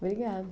Obrigada.